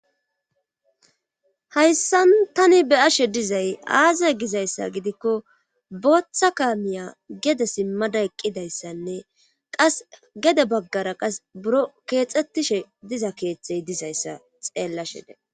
Hayssan tani be'ashe dizay aaze giza issa gidikko booththa kaamiya gede simmada eqqida issanne qassi gede baggara qassi biron keexetishe diza keeththey diza issa xeellashe dees.